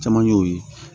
Caman ye o ye